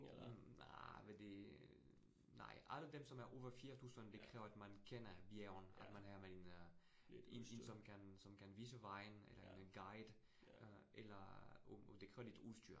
Mh nej men det nej. Alle dem som er over 4000, det kræver, at man kender bjergene, at man er med en øh en en som kan som kan vise vejen eller en guide øh, eller og det kræver lidt udstyr